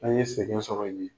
An ye sɛgɛn sɔrɔ yen